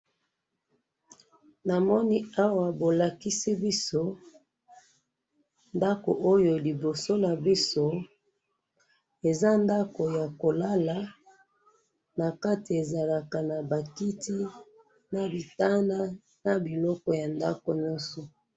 namoni awa bolakisi biso ndaku oyo liboso na biso eza ndaku ya kolala na lati ezalaka naba kiti na bitanda na biloko nyonso